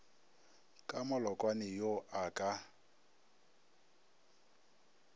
ka malokwane yo a ka